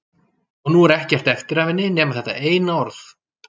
Og nú er ekkert eftir af henni nema þetta eina orð.